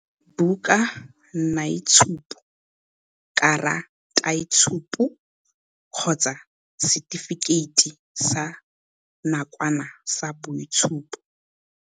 bukanaitshupo, karataitshupo kgotsa setifikeiti sa nakwana sa boitshupo.